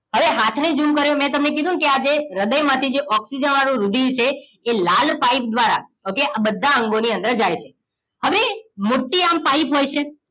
હવે હાથને ઝૂમ કર્યો મેં તમને કીધું નકે જે હ્રદય માંથી જે ઓક્સિજન વાળુંરુધિર છે એ લાલ પાઇપ દ્વ્રારા ઓકે બધા અંગોની અંદર જાય છે હવે મોટી આમ પાઇપ હોય છે